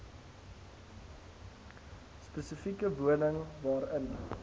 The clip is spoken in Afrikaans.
spesifieke woning waarin